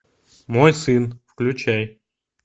мой сын включай